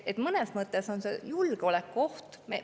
Mõnes mõttes on see julgeolekuoht.